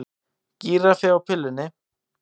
Gíraffi á pillunni